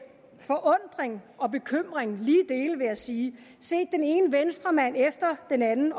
forundring og bekymring lige dele vil jeg sige set den ene venstremand efter den anden